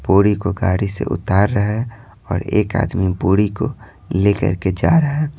बोड़ी को गाड़ी से उतार रहा है और एक आदमी बोड़ी को लेकर के जा रहा है।